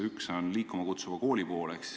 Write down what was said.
Üks on "Liikuma kutsuv kool".